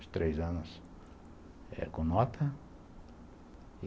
Os três anos com nota.